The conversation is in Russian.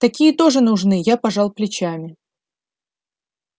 такие тоже нужны я пожал плечами